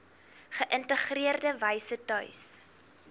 geïntegreerde wyse tuis